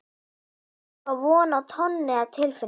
Ég á von á tonni af tilfinningum.